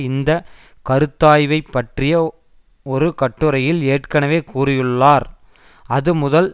இந்த கருத்தாய்வை பற்றிய ஒரு கட்டுரையில் ஏற்கனவே கூறியுள்ளார் அது முதல்